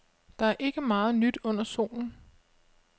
Der er ikke meget nyt under solen.